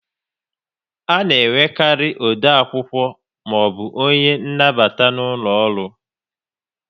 A na enwekarị ode akwụkwọ maọbụ onye nnabata n'ụlọ ọrụ